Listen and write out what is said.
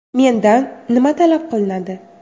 Mendan nima talab qilinadi?